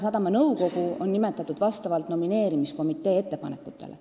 Sadama nõukogu on nimetatud vastavalt nomineerimiskomitee ettepanekutele.